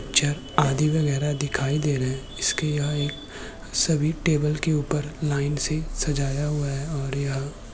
ज आदि वगेरा दिखाई दे रहे है इसके यहाँ एक सभी टेबिल के ऊपर लाइन से सजाया हुआ है ओर यह --